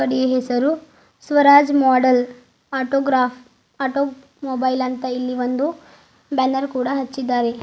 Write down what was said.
ಅಂಗಡಿಯ ಹೆಸರು Swaraj model autograph automobile ಅಂತ ಇಲ್ಲಿ ಒಂದು ಬ್ಯಾನರ್ ಕೂಡ ಹಚ್ಚಿದ್ದಾರೆ.